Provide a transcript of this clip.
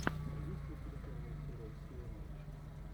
есть ли у тебя первая серия си эм эйч